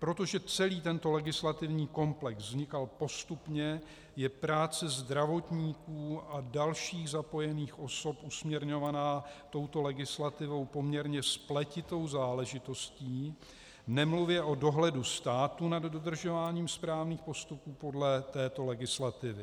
Protože celý tento legislativní komplex vznikal postupně, je práce zdravotníků a dalších zapojených osob usměrňovaná touto legislativou poměrně spletitou záležitostí, nemluvě o dohledu státu nad dodržováním správných postupů podle této legislativy.